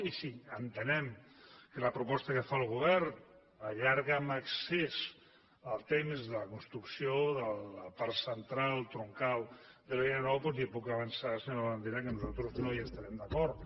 i si entenem que la proposta que fa el govern allarga en excés el temps de la construcció de la part central troncal de la línia nou doncs li puc avançar senyor labandera que nosaltres no hi estarem d’acord